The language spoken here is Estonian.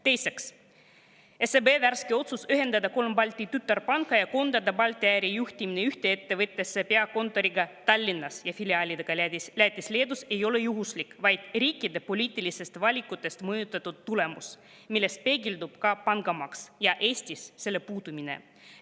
Teiseks, SEB värske otsus ühendada kolm Balti tütarpanka ja koondada Balti ärijuhtimine ühte ettevõttesse peakontoriga Tallinnas ja filiaalidega Lätis-Leedus ei ole juhuslik, vaid riikide poliitilistest valikutest mõjutatud tulemus, milles peegeldub ka pangamaks ja selle puudumine Eestis.